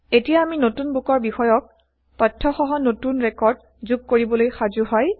এতিয়া আমি নতুন বুকৰ বিষয়ক তথ্যসহ নতুন ৰেকৰ্ড যোগ কৰিবলৈ সাজো হয়